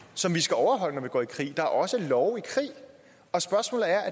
som vi skal overholde når vi går i krig er også love i krig og spørgsmålet er